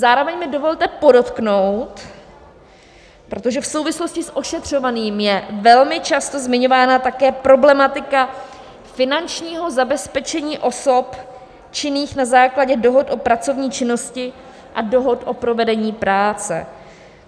Zároveň mi dovolte podotknout - protože v souvislosti s ošetřovným je velmi často zmiňována také problematika finančního zabezpečení osob činných na základě dohod o pracovní činnosti a dohod o provedení práce.